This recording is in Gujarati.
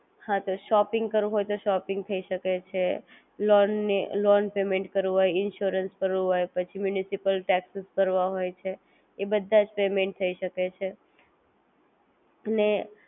ફોનપે વોલેત પણ તમે transaction કરી શકો છો recharge કરી શકો છો